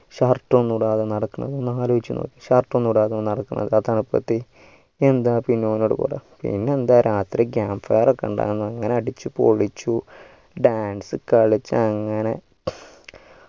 shirt ഒന്നുടാതെ നടക്കുന്നു ഒന്നാലോചിച്ചു നോക്കിയെ shirt ഇടത്തെ നടക്കുന്നു എന്താ ഇപ്പോ ഓനോട്‌ പറയാ പിന്നെന്താ രാത്രി camp fair ഒകെ ഇണ്ടായിരുന്നു അങ്ങനെ അടിച്ചു പൊളിച്ചു dance കളിച്ചു അങ്ങനെ